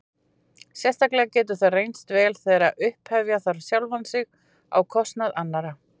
Sérstaklega getur það reynst vel þegar upphefja þarf sjálfan sig á kostnað annarra.